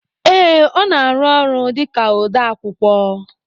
Ee, ọ na arụ ọrụ dịka ode akwụkwọ